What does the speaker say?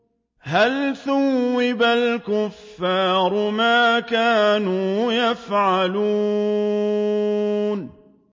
هَلْ ثُوِّبَ الْكُفَّارُ مَا كَانُوا يَفْعَلُونَ